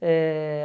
Eh